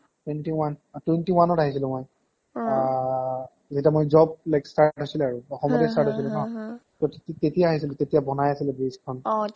twenty one অ twenty oneত আহিছিলো মই অ অ অ যেতিয়া মই job lecturer হৈছিলো আৰু অসমতে startহৈছিলে নঅ তে তেতিয়াই আহিছিলো তেতিয়াই বনাই আছিলে bridge খন অ